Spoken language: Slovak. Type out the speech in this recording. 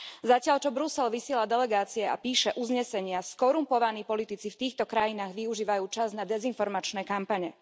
Zatiaľ čo Brusel vysiela delegácie a píše uznesenia, skorumpovaní politici v týchto krajinách využívajú čas na dezinformačné kampane.